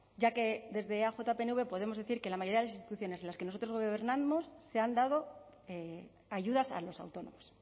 ya que desde eaj pnv podemos decir que la mayoría de las instituciones en las que nosotros gobernamos se han dado ayudas a los autónomos